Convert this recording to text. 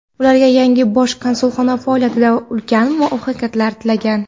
ularga yangi Bosh konsulxona faoliyatida ulkan muvaffaqiyatlar tilagan.